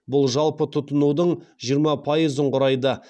бұл жалпы тұтынудың жиырма пайызын құрайды